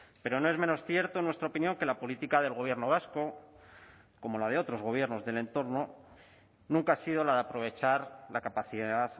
pero no es menos cierto en nuestra opinión que la política del gobierno vasco como la de otros gobiernos del entorno nunca ha sido la de aprovechar la capacidad